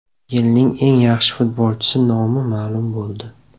Yilning eng yaxshi futbolchisi nomi ma’lum bo‘ldi.